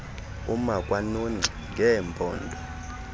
uma kwanongxi ngeempondo